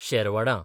शेरवडां